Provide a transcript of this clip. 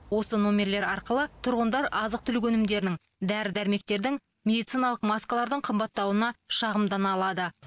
осы номерлер арқылы тұрғындар азық түлік өнімдерінің дәрі дәрмектердің медициналық маскалардың қымбаттауына шағымдана алады